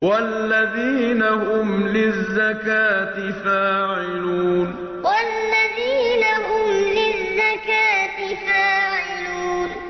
وَالَّذِينَ هُمْ لِلزَّكَاةِ فَاعِلُونَ وَالَّذِينَ هُمْ لِلزَّكَاةِ فَاعِلُونَ